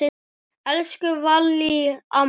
Elsku Vallý amma.